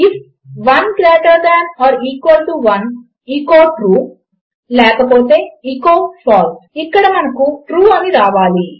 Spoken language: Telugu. if 1 greater than or equal to 1 echo true లేకపోతే ఎచో ఫాల్సే ఇక్కడ మనకు ట్రూ అని రావాలి